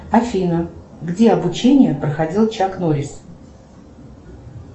афина где обучение проходил чак норрис